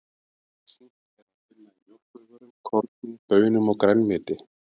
Sink er að finna í mjólkurvörum, korni, baunum og grænmeti.